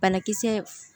Banakisɛ